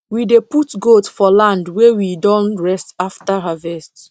we dey put goat for land wey we don rest after harvest